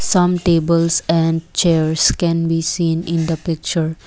some tables and chairs can be seen in the picture.